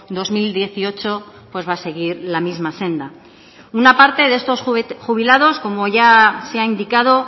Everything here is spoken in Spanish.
dos mil dieciocho pues va a seguir la misma senda una parte de estos jubilados como ya se ha indicado